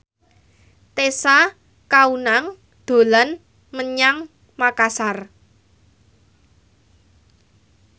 Tessa Kaunang dolan menyang Makasar